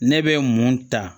Ne bɛ mun ta